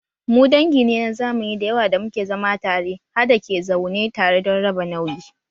Mu dangi ne na zamani da yawa da muke zama tare ha da ke zaune tare don raba nauyi